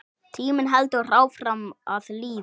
Tíminn heldur áfram að líða.